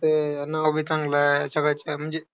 हो, नाव बी चांगलंय. सगळंच अं म्हणजे